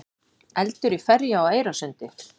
Eldur í ferju á Eyrarsundi